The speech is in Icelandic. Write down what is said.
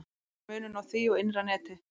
Hver er munurinn á því og innra neti?